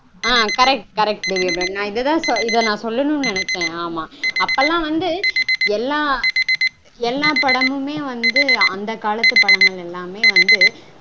ஆஹ் correct correct Devi Abirami நா இததா டஇத நா சொல்லனுனு நெனைச்சேன். அப்போலாம் வந்து எல்லா எல்லா படமுமே வந்து அந்த காலத்து படங்கள் எல்லாமே வந்து